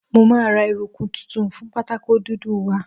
Mo máa ra eruku tuntun fún pátákó dúdú wa.